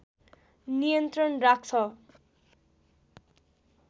नियन्त्रण राख्छ